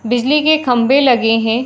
बिजली के खम्बे लगे हैं।